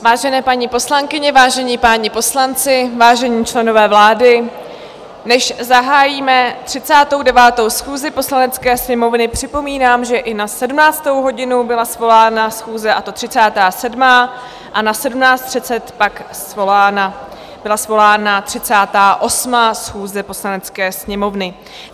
Vážené paní poslankyně, vážení páni poslanci, vážení členové vlády, než zahájíme 39. schůzi Poslanecké sněmovny, připomínám, že i na 17. hodinu byla svolána schůze, a to 37., a na 17.30 pak byla svolána 38. schůze Poslanecké sněmovny.